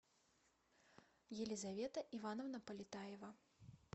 елизавета ивановна полетаева